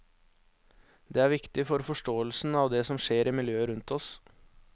Det er viktig for forståelsen av det som skjer i miljøet rundt oss.